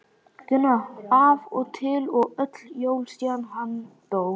Gunna af og til og öll jól síðan hann dó.